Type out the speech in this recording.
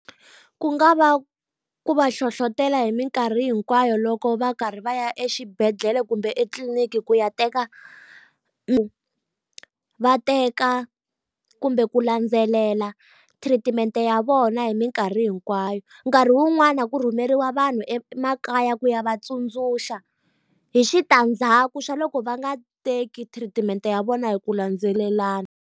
Ku nga va ku va hlohlotela hi mikarhi hinkwayo loko va karhi va ya exibedhlele kumbe etitliliniki ku ya teka va teka kumbe ku landzelela thiritimente ya vona hi mikarhi hinkwayo. Nkarhi wun'wani ku rhumeriwa vanhu emakaya ku ya va tsundzuxa hi switandzaku swa loko va nga teki thiritimente ya vona hi ku landzelelana.